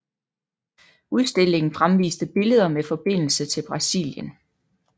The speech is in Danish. Udstillingen fremviste billeder med forbindelser til Brazilienl